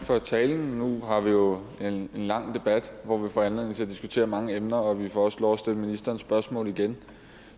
for talen nu har vi jo en lang debat foran hvor vi får anledning til at diskutere mange emner og vi får også lov til at stille ministeren spørgsmål igen